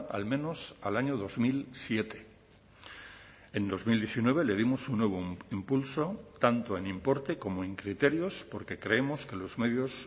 al menos al año dos mil siete en dos mil diecinueve le dimos un nuevo impulso tanto en importe como en criterios porque creemos que los medios